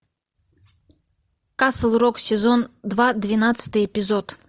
касл рок сезон два двенадцатый эпизод